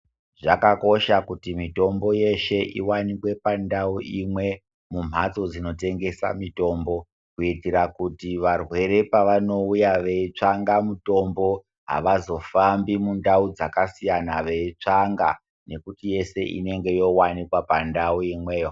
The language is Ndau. Zvakakosha kuti mitombo yeshe ivanikwe pandau imwe mumhatso dzinotengesa mitombo. Kuitira kuti varwere apavanouya veitsvanga mutombo havazofambi mundau dzakasiyana, veitsvanga nekuti yese inonga yovanikwa pandau imweyo.